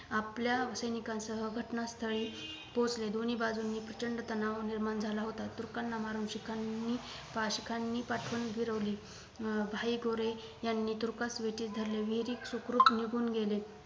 आपल्या सैनिकांसह घटनास्थळी पोहोचले दोनी बाजूंनी प्रचंड तनाव निर्माण झाला होता तुर्कांना मारून शिखांनी पाशीखांनी पाठवण फिरवली अं भाई गोरे यांनी तुर्कास विठीत धरले विहरीक सुखरूप निघून गेले